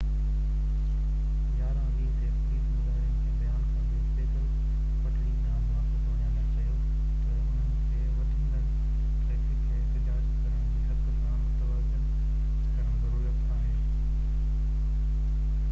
11:20 تي پوليس مظاهرين کي بيان ڪندي پيدل پٽڙي ڏانهن واپس وڃڻ لاءِ چيو ته انهن کي وڌندڙ ٽرئفڪ کي احتجاج ڪرڻ جي حق سان متوازن ڪرڻ ضرورت آهي